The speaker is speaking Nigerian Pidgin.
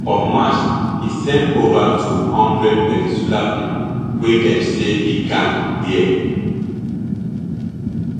for march e send over two hundred venezuelan pipo wey dem say be gang dia